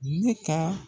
Ne ka